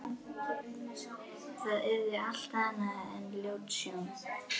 Það yrði allt annað en ljót sjón.